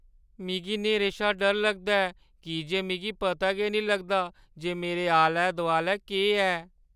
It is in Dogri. मिगी न्हेरे शा डर लगदा ऐ की जे मिगी पता गै निं लगदा जे मेरे आलै-दुआलै केह् ऐ ।